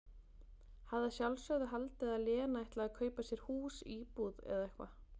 Hafði að sjálfsögðu haldið að Lena ætlaði að kaupa sér hús, íbúð, eða eitthvað.